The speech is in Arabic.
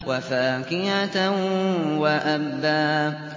وَفَاكِهَةً وَأَبًّا